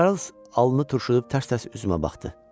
Çarlz alnını turşudub tərs-tərs üzümə baxdı.